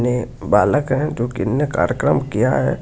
वे बालक है जो की उन्होने कार्यक्रम किया है।